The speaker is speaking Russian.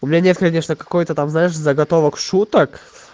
у меня нет конечно какое-то там знаешь заготовок шуток